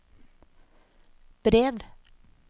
brev